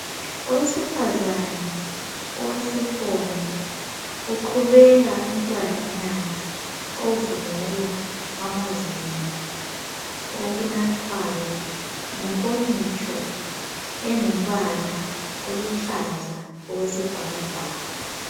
Owesifazana owesifonyo uqhubela umtwananyana ovungula amazinyo okunathwayo ngenkomitsho engumbala oluhlaza okwesibhakabhaka.